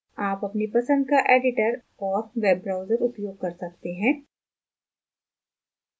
आप अपनी पसंद का editor और web browser उपयोग कर सकते हैं